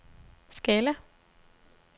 Scala